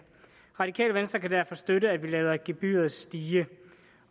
radikale venstre kan derfor støtte at vi lader gebyret stige det